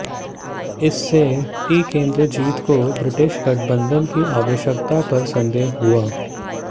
इससे टिकेन्द्रजीत को ब्रिटिश गठबंधन की आवश्यकता पर संदेह हुआ